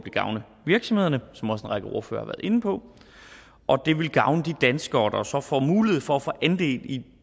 gavne virksomhederne som en række ordførere været inde på og det vil gavne de danskere der så får mulighed for at få andel i